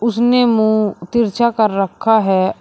उसने मुंह तिरछा कर रखा है।